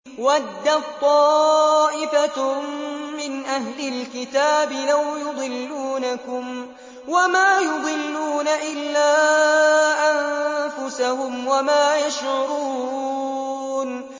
وَدَّت طَّائِفَةٌ مِّنْ أَهْلِ الْكِتَابِ لَوْ يُضِلُّونَكُمْ وَمَا يُضِلُّونَ إِلَّا أَنفُسَهُمْ وَمَا يَشْعُرُونَ